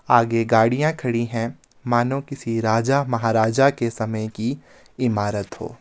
आगे गाड़ियां खड़ी हैं मानो किसी राजा महाराजा के समय की इमारत हो--